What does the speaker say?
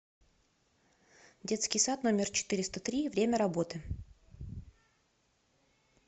детский сад номер четыреста три время работы